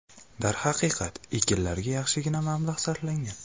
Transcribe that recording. Darhaqiqat, ekinlarga yaxshigina mablag‘ sarflangan.